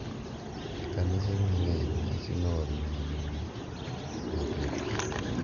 E kanise mang’eny, nyasino oriwo nyumo ng’ato e pi, .